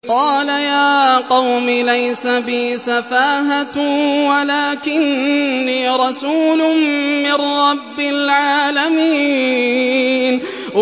قَالَ يَا قَوْمِ لَيْسَ بِي سَفَاهَةٌ وَلَٰكِنِّي رَسُولٌ مِّن رَّبِّ الْعَالَمِينَ